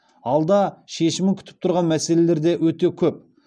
алда шешімін күтіп тұрған мәселелер де өте көп